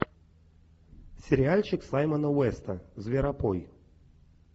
сериальчик саймона уэста зверопой